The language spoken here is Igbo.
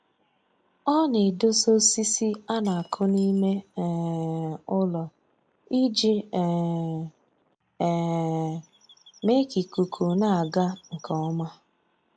Ọ na-edosa osisi a na-akụ n'ime um ụlọ iji um um mee ka ikuku na-aga nke ọma